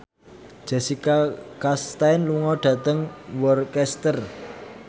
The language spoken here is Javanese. Jessica Chastain lunga dhateng Worcester